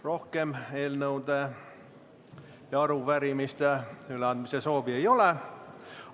Rohkem eelnõude ja arupärimiste üleandmise soovi ei ole.